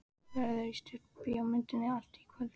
Verður í stúdíóinu í allt kvöld.